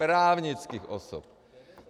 Právnických osob!